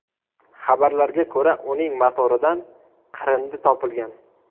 Xabarlarga ko‘ra uning motoridan qirindi topilgan.